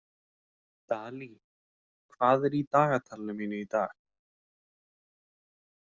Dalí, hvað er í dagatalinu mínu í dag?